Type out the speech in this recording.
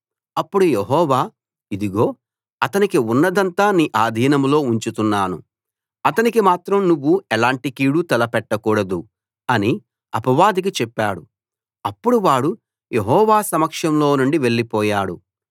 అప్పుడు యెహోవా ఇదిగో అతనికి ఉన్నదంతా నీ ఆధీనంలో ఉంచుతున్నాను అతనికి మాత్రం నువ్వు ఎలాంటి కీడు తలపెట్టకూడదు అని అపవాదికి చెప్పాడు అప్పుడు వాడు యెహోవా సమక్షంలో నుండి వెళ్ళిపోయాడు